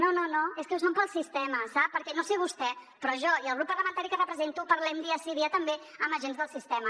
no no no és que ho són pel sistema sap perquè no ho sé vostè però jo i el grup parlamentari que represento parlem dia sí i dia també amb agents del sistema